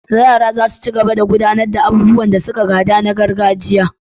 yara zasu cigaba da gudanar da abubuwan da suka gada na gargajiya